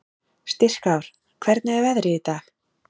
Styrkár, hvernig er veðrið í dag?